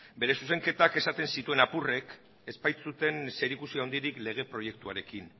bere zuzenketak esaten zituen apurrek ez baitzuten zerikusi handirik lege proiektuarekin